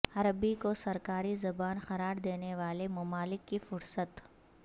عربی کو سرکاری زبان قرار دینے والے ممالک کی فہرست